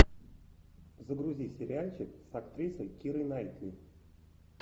загрузи сериальчик с актрисой кирой найтли